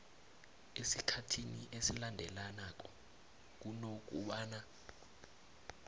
esikhathini esilandelanako kunokobana